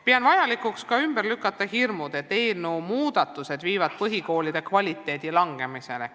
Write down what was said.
Pean vajalikuks ka ümber lükata hirmud, et eelnõu muudatused viivad põhikoolide õppekvaliteedi halvenemiseni.